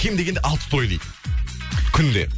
кем дегенде алты той дейді күнде